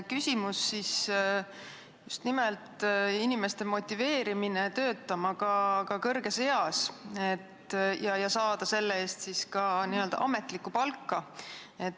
Küsimus on just nimelt selles, kuidas motiveerida inimesi töötama ka kõrges eas, et nad saaksid selle eest ka n-ö ametlikku palka.